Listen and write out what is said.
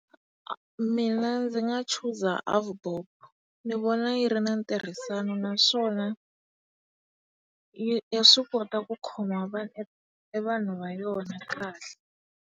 Mina ndzi nga chuza AVBOB, ni vona yi ri na ntirhisano naswona ya swi kota ku khoma e vanhu va yona kahle.